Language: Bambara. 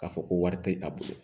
K'a fɔ ko wari tɛ a bolo